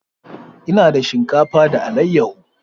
Ina dafa shinkafa da alayyahu.